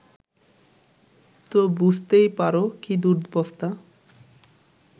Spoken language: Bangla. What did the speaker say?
তো বুঝতেই পারো কী দুরবস্থা